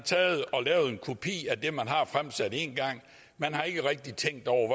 lavet en kopi af det man har fremsat en gang man har ikke rigtig tænkt over